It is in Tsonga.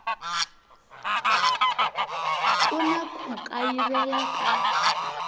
ku na ku kayivela ka